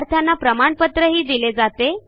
विद्यार्थ्यांना प्रमाणपत्रही दिले जाते